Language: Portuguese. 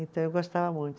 Então, eu gostava muito.